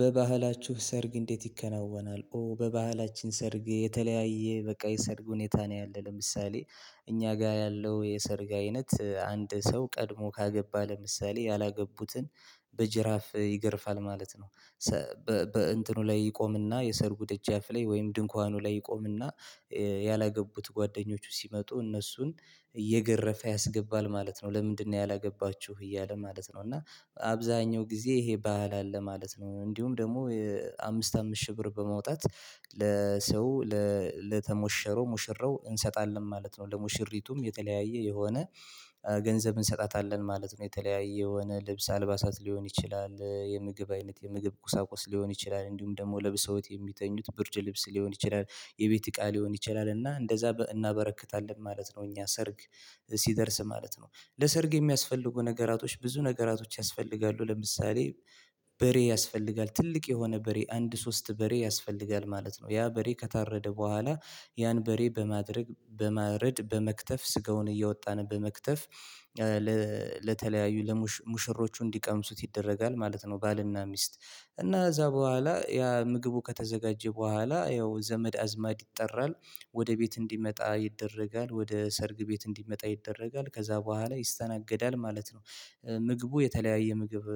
በባህላችሁ ሰርግ እንዴት ይከናወና? ኦ በባህላችን ሰርግ የተለያየ በቃ የሰርግ ሁኔታ ነው ያለው ለምሳሌ እኛ ጋር ያለው የሰርግ አይነት አንድ ሰው ቀድሞ ካገባ ለምሳሌ ያላገቡትን በጅራፍ ይገርፋል ማለት ነው በእንትኑ ላይ ይቆምና የሰርጉ ደጃፍ ላይ ወይም ድንኳኑ ላይ ይቆምና ያላገቡት ጓደኞቹ ሲመጡ እነሱን እየገረፈ ያስገባል ማለት ነው ለምንድነው ያላገባችሁ እያለ ማለት ነው እና አብዛኛው ጊዜ ይሄ ባህል አለ ማለት ነው እንዲሁም ደግሞ አምስት አምስት ሺህ ብር በማውጣት ለሰው ለተሞሸረው ሙሽረው እንሰጣለን ማለት ነው ለሙሽሪቱም የተለያየ የሆነ ገንዘብ እንሰጣታለን ማለት ነው የተለያየ የሆነ ልብስ አልባሳት ሊሆን ይችላል የምግብ አይነት የምግብ ቁሳቁስ ሊሆን ይችላል እንዲሁም ደግሞ ለብሰውት የሚተኙት ብርድ ልብስ ሊሆን ይችላል የቤት እቃ ሊሆን ይችላል እና እንደዛ እናበረክታለን ማለት ነው እኛ ሰርግ ሲደርስ ማለት ነው ለሰርግ የሚያስፈልጉ ነገራቶች ብዙ ነገራቶች ያስፈልጋሉ ለምሳሌ በሬ ያስፈልጋል ትልቅ የሆነ በሬ አንድ ሶስት በሬ ያስፈልጋል ማለት ነው ያ በሬ ከታረደ በኋላ ያን በሬ በማድረግ በማረድ በመክተፍ ስጋውን እየወጣን በመክተፍ ለተለያዩ ለሙሽሮቹ እንዲቀምሱት ይደረጋል ማለት ነው ባልና ሚስት እና እዛ በኋላ ያ ምግቡ ከተዘጋጀ በኋላ ያው ዘመድ አዝማድ ይጠራል ወደ ቤት እንዲመጣ ይደረጋል ወደ ሰርግ ቤት እንዲመጣ ይደረጋል ከዛ በኋላ ይስተናገዳል ማለት ነው ምግቡ የተለያየ ምግብ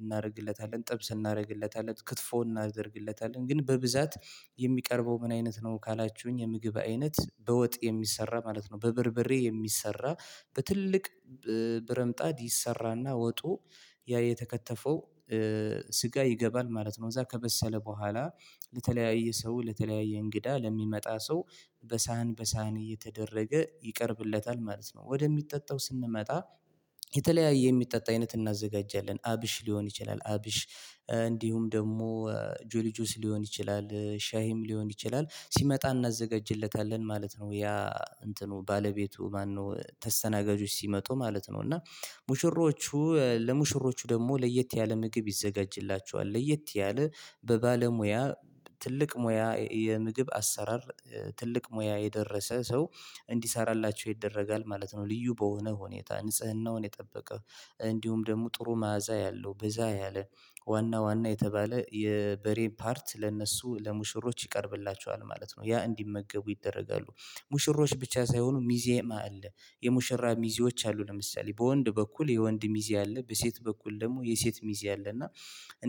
እናደርግለታለን ጥብስ እናደርግለታለን ክትፎ እናደርግለታለን ግን በብዛት የሚቀርበው ምን አይነት ነው ካላችሁኝ የምግብ አይነት በወጥ የሚሰራ ማለት ነው በብርብሬ የሚሰራ በትልቅ ብረምጣድ ይሰራና ወጡ ያ የተከተፈው ስጋ ይገባል ማለት ነው እዛ ከበሰለ በኋላ ለተለያየ ሰው ለተለያየ እንግዳ ለሚመጣ ሰው በሳህን በሳህን እየተደረገ ይቀርብለታል ማለት ነው ወደሚጠጣው ስንመጣ የተለያየ የሚጠጣ አይነት እናዘጋጃለን አብሽ ሊሆን ይችላል አብሽ እንዲሁም ደግሞ ጆሊ ጆስ ሊሆን ይችላል ሻይም ሊሆን ይችላል ሲመጣ እናዘጋጅለታለን ማለት ነው ያ እንትኑ ባለቤቱ ማነው ተስተናጋጆች ሲመጡ ማለት ነው እና ሙሽሮቹ ለሙሽሮቹ ደግሞ ለየት ያለ ምግብ ይዘጋጅላቸዋል ለየት ያለ በባለሙያ ትልቅ ሙያ የምግብ አሰራር ትልቅ ሙያ የደረሰ ሰው እንዲሰራላቸው ይደረጋል ማለት ነው ልዩ በሆነ ሁኔታ ንጽህናውን የጠበቀ እንዲሁም ደግሞ ጥሩ መዓዛ ያለው በዛ ያለ ዋና ዋና የተባለ የበሬ ፓርት ለእነሱ ለሙሽሮች ይቀርብላቸዋል ማለት ነው፤ ያ እንዲመገቡ ይደረጋሉ ሙሽሮች ብቻ ሳይሆኑ ሚዜም አለ የሙሽራ ሚዜዎች አሉ ለምሳሌ በወንድ በኩል የወንድ ሚዜ አለ በሴት በኩል ደግሞ የሴት ሚዜ አለ እና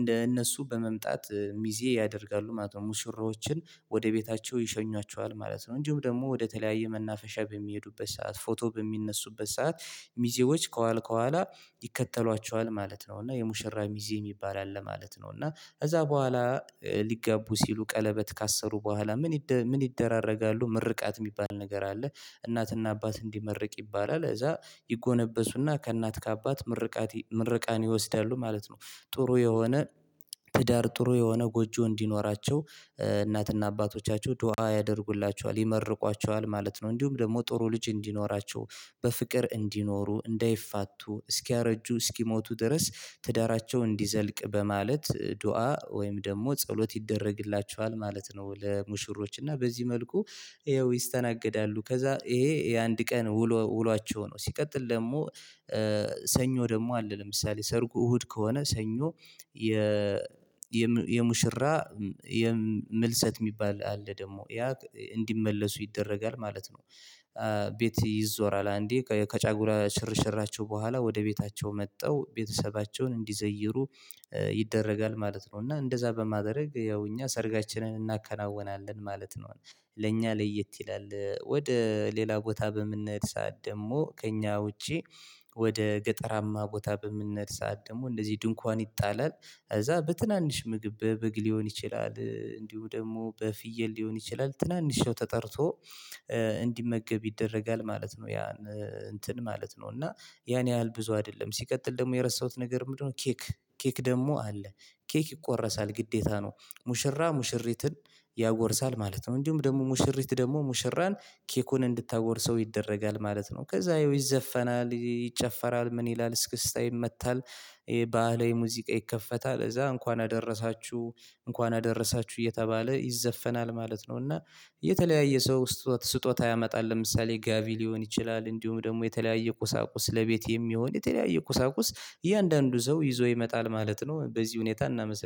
እንደ እነሱ በመምጣት ሚዜ ያደርጋሉ ማለት ነው ሙሽራዎችን ወደ ቤታቸው ይሸኟቸዋል ማለት ነው እንዲሁም ደግሞ ወደ ተለያየ መናፈሻ በሚሄዱበት ሰዓት ፎቶ በሚነሱበት ሰዓት ሚዜዎች ከኋላ ከኋላ ይከተሏቸዋል ማለት ነው እና የሙሽራ ሚዜ የሚባል አለ ማለት ነው እና ከዛ በኋላ ሊጋቡ ሲሉ ቀለበት ካሰሩ በኋላ ምን ምን ይደራረጋሉ ምርቃት የሚባል ነገር አለ እናትና አባት እንዲመርቅ ይባላል እዛ ይጎነበሱና ከእናት ከአባት ምርቃት ምርቃን ይወስዳሉ ማለት ነው ጥሩ የሆነ ትዳር ጥሩ የሆነ ጎጆ እንዲኖራቸው እናትና አባቶቻቸው ዱአ ያደርጉላችኋል ይመርቋችኋል ማለት ነው እንዲሁም ደግሞ ጥሩ ልጅ እንዲኖራቸው በፍቅር እንዲኖሩ እንዳይፋቱ እስኪያረጁ እስኪሞቱ ድረስ ትዳራቸው እንዲዘልቅ በማለት ዱአ ወይም ደግሞ ጸሎት ይደረግላቸዋል ማለት ነው ለሙሽሮች እና በዚህ መልኩ ይሄው ይስተናገዳሉ ከዛ ይሄ የአንድ ቀን ውሎ ውሏቸው ነው ሲቀጥል ደግሞ ሰኞ ደግሞ አለ ለምሳሌ ሰርጉ እሁድ ከሆነ ሰኞ የ የሙሽራ የምልሰት የሚባል አለ ደግሞ ያ እንዲመለሱ ይደረጋል ማለት ነው ቤት ይዞራል አንዴ ከጫጉላ ሽርሽራቸው በኋላ ወደ ቤታቸው መጥተው ቤተሰባቸውን እንዲዘይሩ ይደረጋል ማለት ነው እና እንደዛ በማድረግ ያው እኛ ሰርጋችንን እናከናውናለን ማለት ነው ለእኛ ለየት ይላል ወደ ሌላ ቦታ በምንሄድት ሰዓት ደግሞ ከእኛ ውጪ ወደ ገጠራማ ቦታ በምንሰዓት ሰዓት ደግሞ እንደዚህ ድንኳን ይጣላል ከዛ በትናንሽ ምግብ በበግ ሊሆን ይችላል እንዲሁ ደግሞ በፍየል ሊሆን ይችላል ትናንሽ ሰው ተጠርቶ እንዲመገብ ይደረጋል ማለት ነው ያ እንትን ማለት ነው እና ያን ያህል ብዙ አይደለም ሲቀጥል ደግሞ የረሳሁት ነገር ምንድነው ኬክ ኬክ ደግሞ አለ ኬክ ይቆረሳል ግዴታ ነው ሙሽራ ሙሽሪትን ያጎርሳል ማለት ነው እንጂም ደግሞ ሙሽሪት ደግሞ ሙሽራን ኬኩን እንድታጎርሰው ይደረጋል ማለት ነው ከዛ ይዘፈናል ይጨፈራል ምን ይላል እስክስታ ይመታል ይሄ ባህላዊ ሙዚቃ ይከፈታል እዛ እንኳን አደረሳችሁ እንኳን አደረሳችሁ እየተባለ ይዘፈናል ማለት ነው እና የተለያየ ሰው ስጦታ ያመጣል ለምሳሌ ጋቢ ሊሆን ይችላል እንዲሁም ደግሞ የተለያየ ቁሳቁስ ለቤት የሚሆን የተለያየ ቁሳቁስ እያንዳንዱ ሰው ይዞ ይመጣል ማለት ነው በዚህ ሁኔታ እናመሰግናለን።